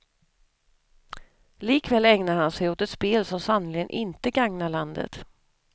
Likväl ägnar han sig åt ett spel som sannerligen inte gagnar landet.